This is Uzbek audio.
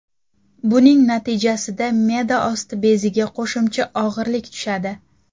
Buning natijasida me’da osti beziga qo‘shimcha og‘irlik tushadi.